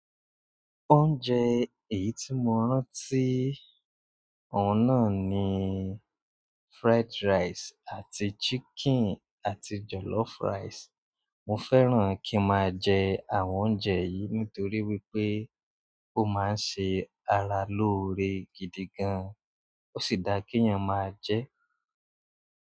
Oúnjẹ èyí tí mo rántí ọ̀un nà ni fried rice àti chicken àti jollof rice. Mò fẹ́ràn kín máa jẹ àwọn oúnjẹ yìí nítorí wípé ó máa ń ṣe ara lóore gidi gan, ó sì dá kí ènìyàn máa jẹ́.